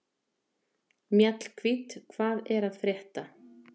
Mjallhvít, hvað er að frétta?